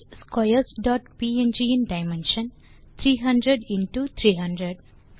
imagesquares dot png இன் dimension 300எக்ஸ்300